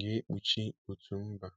ga-ekpuchi òtù mba.